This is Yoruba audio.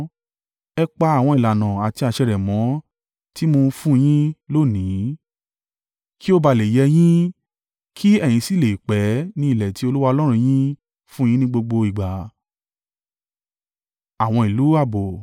Ẹ pa àwọn ìlànà àti àṣẹ rẹ̀ mọ́ tí mo ń fún un yín lónìí; kí ó ba à le è yẹ yín, kí ẹ̀yin sì le è pẹ́ ní ilẹ̀ tí Olúwa Ọlọ́run yín fún un yín ní gbogbo ìgbà.